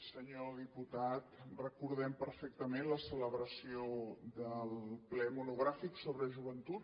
senyor diputat recordem perfectament la celebració del ple monogràfic sobre joventut